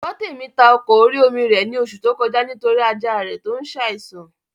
Gbọ́tèmi ta ọkọ̀ orí-omi rẹ̀ ní oṣù tó kọjá nítorí ajá rẹ̀ tó n saìsàn